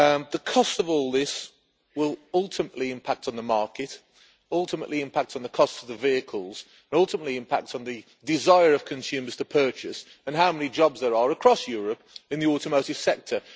The cost of all this will ultimately impact on the market, ultimately impact on the cost of the vehicles, ultimately impact on the desire of consumers to purchase and on how many jobs there are across Europe in the automotive sector.